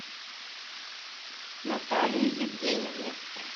наталии евгеньевне